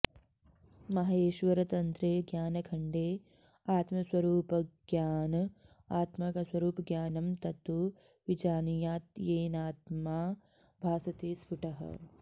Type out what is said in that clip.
माहेश्वरतन्त्रे ज्ञानखण्डे आत्मस्वरूपज्ञान आत्मा का स्वरूप ज्ञानं तत्तु विजानीयात् येनात्मा भासते स्फुटः